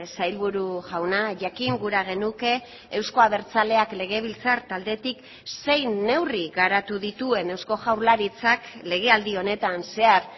sailburu jauna jakin gura genuke euzko abertzaleak legebiltzar taldetik zein neurri garatu dituen eusko jaurlaritzak legealdi honetan zehar